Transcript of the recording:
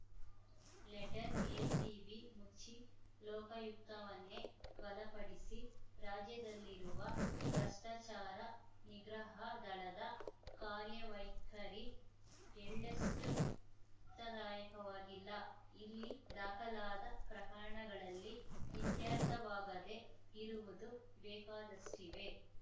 letter ACB ಮುಚ್ಚಿ ಲೋಕಾಯುಕ್ತವನ್ನೇ ಬಲಪಡಿಸಿ ರಾಜ್ಯದಲ್ಲಿರುವ ಭ್ರಷ್ಟಾಚಾರ ನಿಗ್ರಹ ದಳದ ಕಾರ್ಯವೈಖರಿ ಎಳ್ಳಷ್ಟೂತೃಪ್ತಿದಾಯಕವಾಗಿಲ್ಲ ಇಲ್ಲಿ ದಾಖಲಾದ ಪ್ರಕರಣಗಳಲ್ಲಿ ಇತ್ಯರ್ಥವಾಗದೆ ಇರುವುದು ಬೇಕಾದಷ್ಟಿವೆ